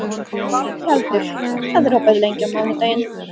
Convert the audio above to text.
Tjaldur, hvað er opið lengi á mánudaginn?